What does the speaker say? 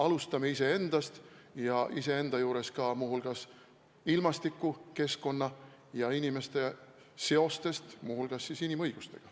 Alustame iseendast ja iseenda juures muu hulgas ka ilmastiku, keskkonna ja inimeste seostest inimõigustega.